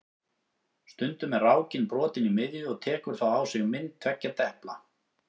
Stundum er rákin brotin í miðju og tekur þá á sig mynd tveggja depla.